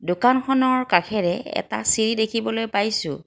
দোকানখনৰ কাষেৰে এটা চিৰি দেখিবলৈ পাইছোঁ।